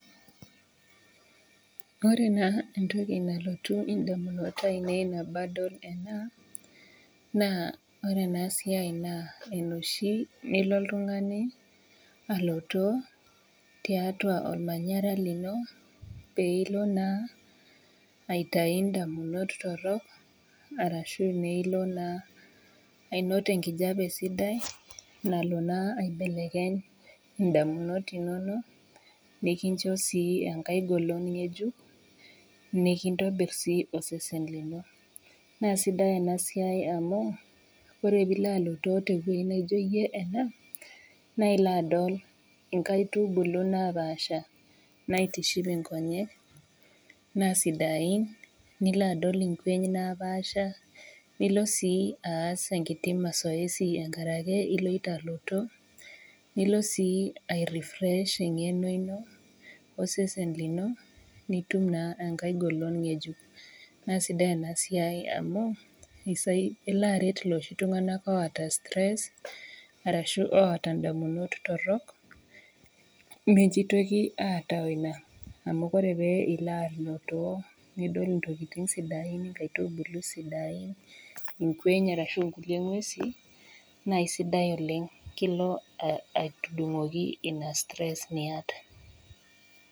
Ore naa entoki nalotu indamunot ainei enabadol ena naa ore ena siai naa enoshi nilo oltung'ani alotoo tiatua olmanyara lino peilo naa aitai indamunot torrok arashu meilo naa ainot enkijape sidai nalo naa aibelekeny indamunot inonok nikincho sii enkae golon ng'ejuk nikintobirr sii osesen lino naa sidai ina siai amu ore piilo alotoo tewueji naijio iyie ena naa ilo adol inkaitubulu napaasha naitiship inkonyek naa sidain nilo adol inkweny napaasha nilo sii aas enkiti masoesi enkarake iloito aloto nilo sii ae refresh eng'eno ino osesen lino nitum naa enkae golon ng'ejuk naa sidai ena siai amu eisai elo aret iloshi tung'anak oota stress arashu oota indamunot torrok mejitoki aataamu kore pee ilo alotoo niol intokitin sidain inkaitubulu sidain inkweny arashu inkulie ng'uesin naa isidai oleng kilo uh aidung'oki ina stress niyata.